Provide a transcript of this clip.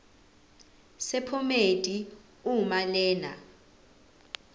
sephomedi uma lena